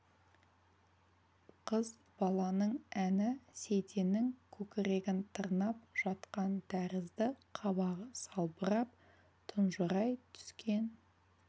қыз баланың әні сейтеннің көкірегін тырнап жатқан тәрізді қабағы салбырап тұнжырай түскен